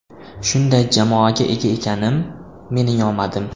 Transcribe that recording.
Shunday jamoaga ega ekanim, mening omadim.